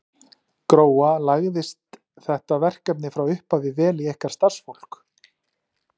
Gróa, lagðist þetta verkefni frá upphafi vel í ykkar starfsfólk?